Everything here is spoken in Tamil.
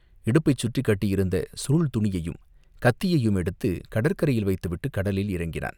இடுப்பைச் சுற்றிக் கட்டியிருந்த சுருள் துணியையும் கத்தியையும் எடுத்துக் கடற்கரையில் வைத்துவிட்டுக் கடலில் இறங்கினான்.